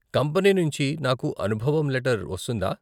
Company నుంచి నాకు అనుభవం లెటర్ వస్తుందా?